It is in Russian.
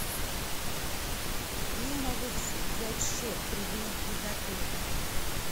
где я могу взять счет при выезде из отеля